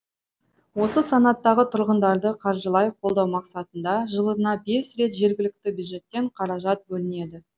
осы санаттағы тұрғындарды қаржылай қолдау мақсатында жылына бес рет жергілікті бюджеттен қаражат бөлінеді